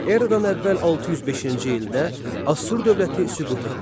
Eradan əvvəl 605-ci ildə Assur dövləti süqut etdi.